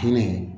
Fini